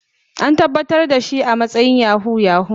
An tabbatar da shi a matsayin Yahoo yahoo.